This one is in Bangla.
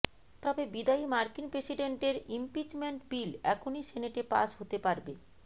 তবে বিদায়ী মার্কিন প্রেসিডেন্টের ইমপিচমেন্ট বিল এখনই সেনেটে পাস হতে পারবে